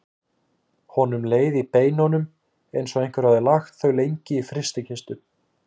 Honum leið í beinunum eins og einhver hefði lagt þau lengi í frystikistu.